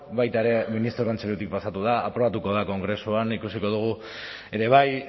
baita ere ministro kontseilutik pasatu da aprobatuko da kongresuan ikusiko dugu ere bai